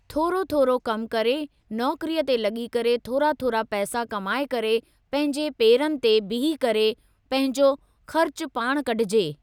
थोरो थोरो कमु करे नौकरीअ ते लॻी करे थोरा थोरा पैसा कमाइ करे पंहिंजे पेरनि ते बीही करे पंहिंजो ख़र्च पाण कढिजे।